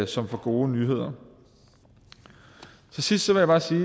som får gode nyheder til sidst vil jeg bare sige